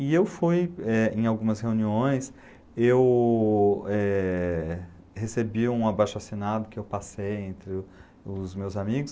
E eu fui eh, em algumas reuniões, eu, eh, recebi um abaixo-assinado que eu passei entre o os meus amigos,